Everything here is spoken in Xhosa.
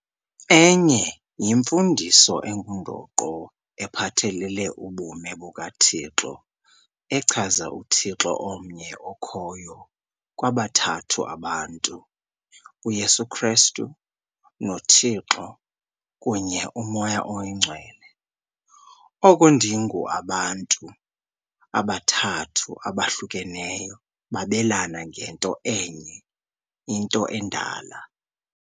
Emnye yimfundiso engundoqo ephathelele ubume bukaThixo echaza uThixo omnye okhoyo kwabathathu abantu - UYesu Kristu, noThixo kunye uMoya oyiNgcwele, oko ndingu abantu abathathu abahlukeneyo babelana ngento enye - into endala.